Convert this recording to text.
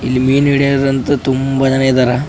ಇಲ್ಲಿ ಮೀನ್ ಹಿಡಿಯೋಕ್ಕಂತು ತುಂಬಾ ಜನ ಇದಾರ .